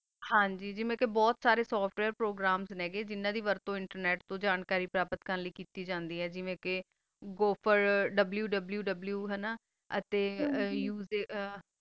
ਹਨ ਜੀ ਮਾ ਕਾ ਬੋਹਤ ਸਾਰਾ software program ਗਾ ਨਾ ਅਪਾ internet ਤੋ ਜਾਨ ਕਰੀ www ਕੀਤੀ ਆ ਹਨ ਗੀ ਜੀਵਾ ਕਾ ਬੋਪਰ ਵ੍ਵ੍ਵ ਤਾ ਹਨ ਗ